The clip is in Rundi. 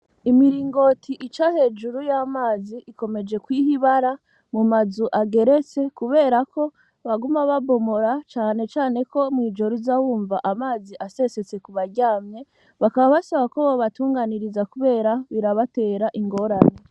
Imiringoti ica hejuru y'amazi ikomeje ko ihibara mu mazu ageretse kuberako baguma babomora canecaneko mw'ijoru z'awumva amazi asesetse ku baryamye bakaba basaba ko bobatunganiriza, kubera birabatera ingorani.